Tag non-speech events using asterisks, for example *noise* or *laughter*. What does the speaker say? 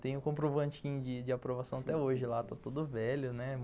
Tem o comprovantinho de de aprovação até hoje lá, *laughs* está todo velho, né?